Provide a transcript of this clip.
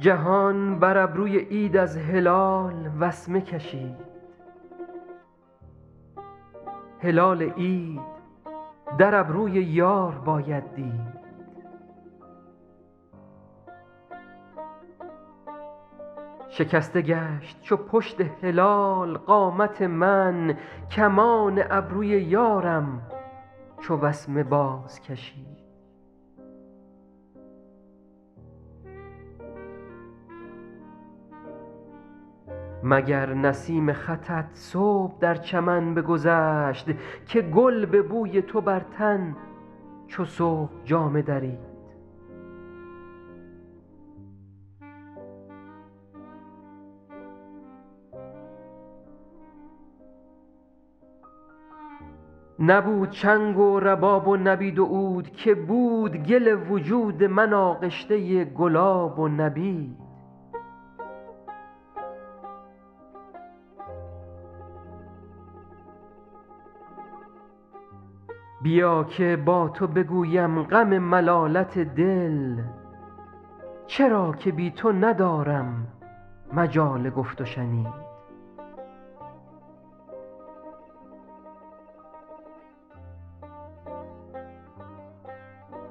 جهان بر ابروی عید از هلال وسمه کشید هلال عید در ابروی یار باید دید شکسته گشت چو پشت هلال قامت من کمان ابروی یارم چو وسمه بازکشید مگر نسیم خطت صبح در چمن بگذشت که گل به بوی تو بر تن چو صبح جامه درید نبود چنگ و رباب و نبید و عود که بود گل وجود من آغشته گلاب و نبید بیا که با تو بگویم غم ملالت دل چرا که بی تو ندارم مجال گفت و شنید